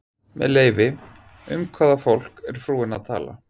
Með leyfi, um hvaða fólk er frúin að tala?